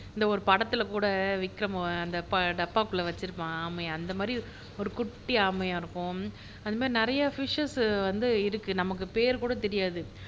இந்த ஒரு படத்துல கூட விக்கிரம் அந்த டப்பாக்குள்ள வச்சுருப்பான் ஆமையஅந்த மாதிரி ஒரு குட்டி ஆமையா இருக்கும் அந்த மாதிரி நிறைய ஃபிஷஸ் வந்து இருக்கு நமக்கு பேர் கூட தெரியாது